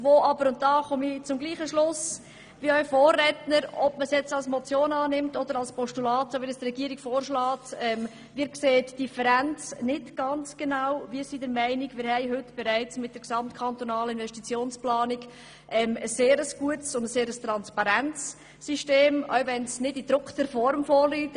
Wir sind jedoch der Meinung, dass wir mit der gesamtkantonalen Investitionsplanung ein sehr gutes und transparentes System haben, auch wenn diese nicht allen in gedruckter Form vorliegt.